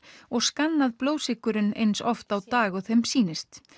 og skannað blóðsykurinn eins oft á dag og þeim sýnist